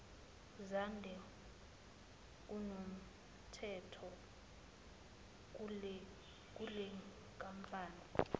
zande kunomthetho kulenkampani